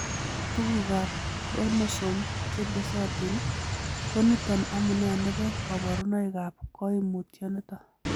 Tugukab chromosome chetesotin koniton amune nebo koborunoikab koimutioniton.